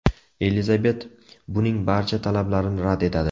Elizabet uning barcha talablarini rad etadi.